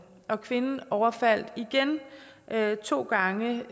og kvinden overfaldt igen to gange